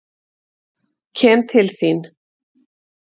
Kem til þín.